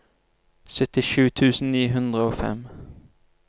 syttisju tusen ni hundre og fem